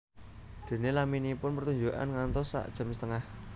Déné laminipun pertunjukan ngantos sak jam setengah